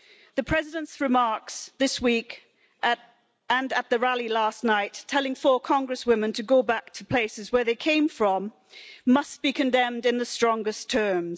The President's remarks this week, and at the rally last night, telling four Congresswomen to go back to the places where they came from, must be condemned in the strongest terms.